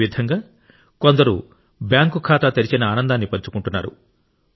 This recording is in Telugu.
అదే విధంగా కొందరు బ్యాంకు ఖాతా తెరిచిన ఆనందాన్ని పంచుకుంటున్నారు